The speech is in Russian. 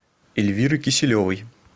эльвиры киселевой